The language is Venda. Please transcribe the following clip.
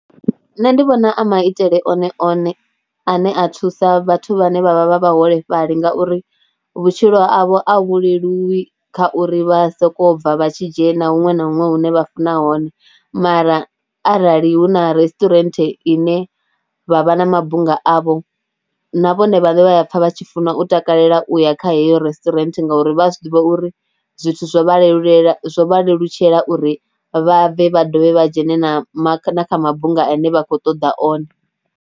Nṋe ndi vhona a maitele one one ane a thusa vhathu vhane vha vha vha vhaholefhali ngauri vhutshilo havho a vhuleluwi kha uri vha sokou bva vha tshi dzhena huṅwe na huṅwe hune vha funa hone mara arali hu na resturant ine vha vha na mabunga avho na vhone vhaṋe vha a pfha vha tshi funa u takalela u ya kha heyo resturant ngauri vha a zwi ḓivha uri zwithu zwo vhalelulela, zwo vha lelutshela uri vha vha bve vha dovhe vha dzhene na kha mabunga ane vha khou ṱoḓa one.